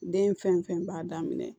Den fɛn fɛn b'a daminɛ